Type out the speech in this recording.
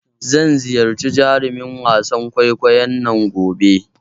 Zan ziyarci jarumin wasan kwaikwayon nan gobe.